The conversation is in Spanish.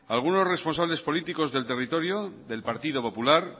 algunos responsables políticos del territorio del partido popular